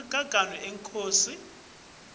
emaganu enkhosi